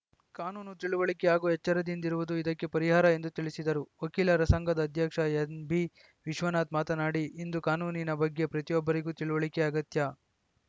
ಕಾನೂನು ತಿಳಿವಳಿಕೆ ಹಾಗೂ ಎಚ್ಚರದಿಂದಿರುವುದು ಇದಕ್ಕೆ ಪರಿಹಾರ ಎಂದು ತಿಳಿಸಿದರು ವಕೀಲರ ಸಂಘದ ಅಧ್ಯಕ್ಷ ಎನ್‌ಬಿವಿಶ್ವನಾಥ್‌ ಮಾತನಾಡಿ ಇಂದು ಕಾನೂನಿನ ಬಗ್ಗೆ ಪ್ರತಿಯೊಬ್ಬರಿಗೂ ತಿಳುವಳಿಕೆ ಅಗತ್ಯ